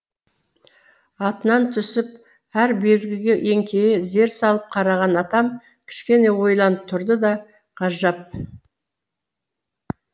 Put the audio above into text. атынан түсіп әр белгіге еңкейе зер салып қараған атам кішкене ойланып тұрды да ғажап